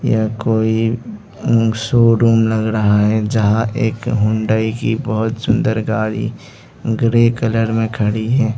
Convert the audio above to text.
यह कोई शोरूम लग रहा है जहां एक हुंडई की बहुत सुंदर गाड़ी ग्रे कलर में खड़ी है।